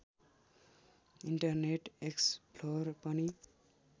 internet explorer पनि